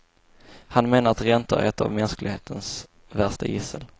Han menar att räntor är ett av mänsklighetens värsta gissel.